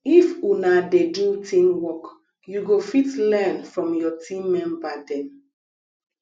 if una dey do teamwork you go fit learn from your team member dem